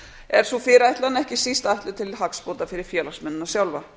er sú fyrirætlan ekki síst ætluð til hagsbóta fyrir félagsmennina sjálfa